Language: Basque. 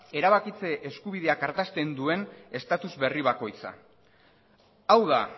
erabakitze eskubideak ardazten duen status berri bakoitza hau da